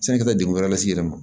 Sani i ka se degun wɛrɛ las'i yɛrɛ ma